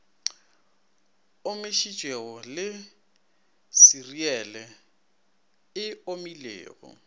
omišitšwego le seriele e omilego